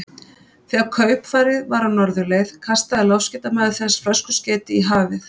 Þegar kaupfarið var á norðurleið, kastaði loftskeytamaður þess flöskuskeyti í hafið.